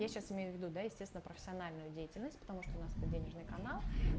я сейчас имею в виду да естественно профессиональную деятельность потому что у нас тут денежный канал